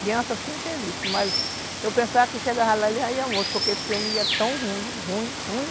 Criança assim eu tenho visto, mas eu pensava que chegava lá ele já ia morto, porque esse homem ia tão ruim, ruim, ruim,